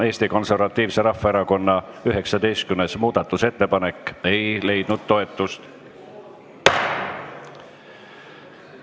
Eesti Konservatiivse Rahvaerakonna 19. muudatusettepanek ei leidnud toetust.